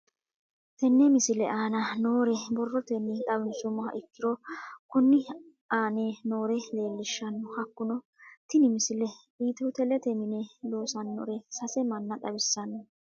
Tenne misile aana noore borrotenni xawisummoha ikirro kunni aane noore leelishano. Hakunno tinni misile ethio telete minne loosanorre sase manna xawissanno.